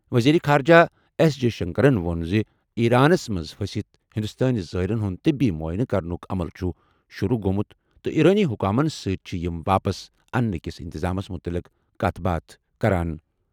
وزیرِ خارجہ ایس جئے شنکرَن ووٚن زِ ایرانَس منٛز پھٔسِتھ ہندوستٲنۍ زائرَن ہُنٛد طبی معائنہٕ کرنُک عمل چھُ شُروٗع گوٚومُت تہٕ ایرانی حکامَن سۭتۍ چھِ یِم واپس اننہٕ کِس انتظامَس مُتعلِق کَتھ باتھ کران۔